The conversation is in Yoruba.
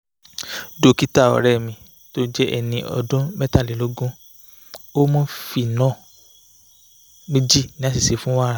dókítà ọ̀rẹ́ mi tó jẹ́ ẹni ọdún mẹ́tàlélógún ó mú phenol méjì ní àṣìṣe fún wàrà